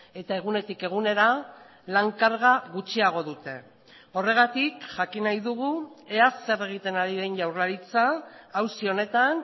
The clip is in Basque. eta egunetik egunera lan karga gutxiago dute horregatik jakin nahi dugu ea zer egiten ari den jaurlaritza auzi honetan